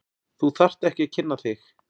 Þú þarft ekki að kynna þig.